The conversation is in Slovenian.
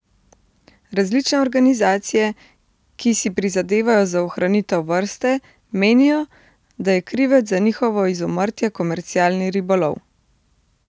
Različne organizacije, ki si prizadevajo za ohranitev vrste, menijo, da je krivec za njihovo izumrtje komercialni ribolov.